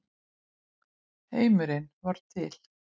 Heimurinn varð til.